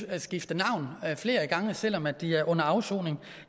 at skifte navn flere gange selv om de er under afsoning